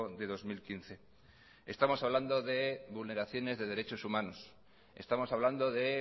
de dos mil quince estamos hablando de vulneraciones de derechos humanos estamos hablando de